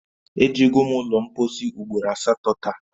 Ejego m ụlọ mpọsị ugboro asatọ taa